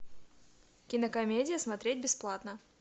кинокомедия смотреть бесплатно